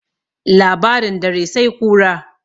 labarin dare sai kura